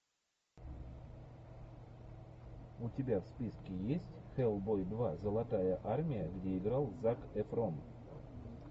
у тебя в списке есть хэллбой два золотая армия где играл зак эфрон